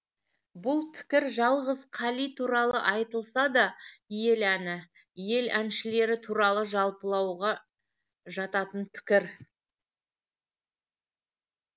бұл пікір жалғыз қали туралы айтылса да ел әні ел әншілері туралы жалпылауға жататын пікір